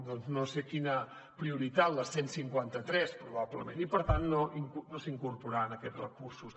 doncs no sé quina prioritat la cent cinquanta tres probablement i per tant no s’hi incorporaran aquests recursos